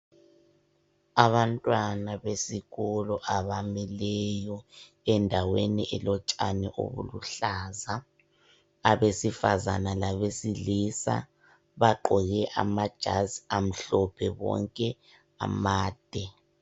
Abantwana besikolo abamileyo endaweni elotshani obuluhlaza, abesifazana labesilisa bagqoke amajazi amhlophe bonke amade.